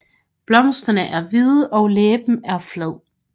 Blomsterne er hvide og læben flad